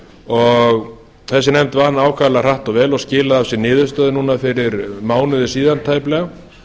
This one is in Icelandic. og þessi nefnd vann ákaflega hratt og vel og skilaði af sér niðurstöðum núna fyrir mánuði síðan tæplega